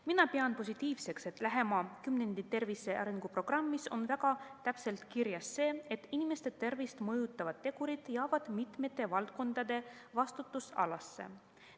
Mina pean positiivseks, et lähema kümnendi tervise arenguprogrammis on väga täpselt kirjas, et inimeste tervist mõjutavad tegurid jäävad mitme valdkonna vastutusalasse.